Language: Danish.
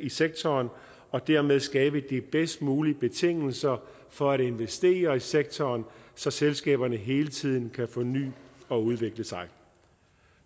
i sektoren og dermed skabe de bedst mulige betingelser for at investere i sektoren så selskaberne hele tiden kan forny og udvikle sig